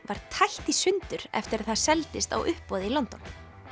var tætt í sundur eftir að það seldist á uppboði í London